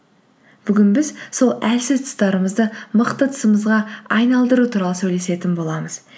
бүгін біз сол әлсіз тұстарымызды мықты тұсымызға айналдыру туралы сөйлесетін боламыз